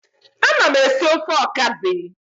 Ana m esi ofe okazi.